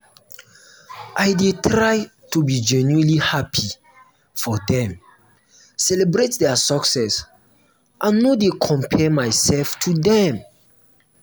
i dey try to be genuinely happy for dem celebrate dia success and no dey compare myself to dem.